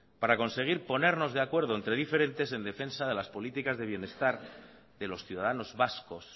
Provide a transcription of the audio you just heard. para conseguir ponernos de acuerdo entre diferentes en defensa de las políticas de bienestar de los ciudadanos vascos